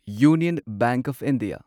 union bank of India